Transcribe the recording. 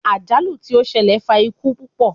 Ajalu ti o ṣẹlẹ fa iku pupọ